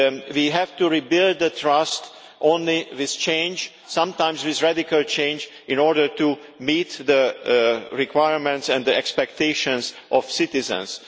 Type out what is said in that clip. We have to rebuild the trust only with change, sometimes with radical change in order to meet the requirements and the expectations of citizens.